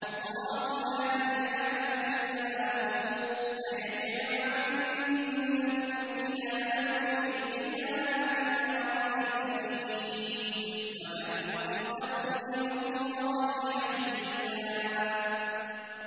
اللَّهُ لَا إِلَٰهَ إِلَّا هُوَ ۚ لَيَجْمَعَنَّكُمْ إِلَىٰ يَوْمِ الْقِيَامَةِ لَا رَيْبَ فِيهِ ۗ وَمَنْ أَصْدَقُ مِنَ اللَّهِ حَدِيثًا